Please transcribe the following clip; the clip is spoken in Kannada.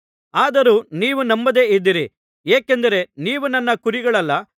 ಆದರೂ ನೀವು ನಂಬದೆ ಇದ್ದೀರಿ ಏಕೆಂದರೆ ನೀವು ನನ್ನ ಕುರಿಗಳಲ್ಲ